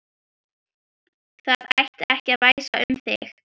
Það ætti ekki að væsa um þig.